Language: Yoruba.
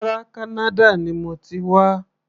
Rárá, Kánádà ni mo ti wá.